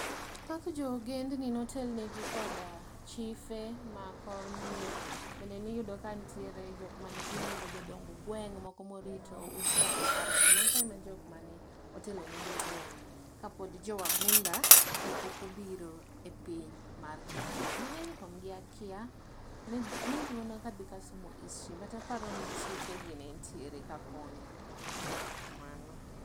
Thoth jo wagendni ne otelnegi koda chife mag kor mier bende niyudo ka nitiere jokma ne giluongo ni jodong gweng moko morito ute apar ka mago e jokma ne otelone jogweng kapod jo wagunda ne pok obiro e piny Kenya. Mangeny kuom gi akia maybe mana ka adhi kasomo history but aparoni chife gi ne nitiere kakonyo, kamano